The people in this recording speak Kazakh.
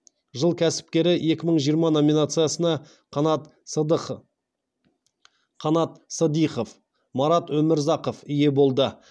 жыл кәсіпкері екі мың жиырмасыншы номинациясына қанат сыдихов марат өмірзақов ие болды